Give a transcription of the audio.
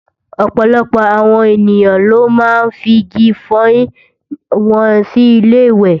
Ọ̀pọ̀lọpọ̀ awon ènìyàn ló máa ń figi ifọyín wọn sí ilé-ìwẹ̀